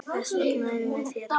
Þess vegna erum við hérna!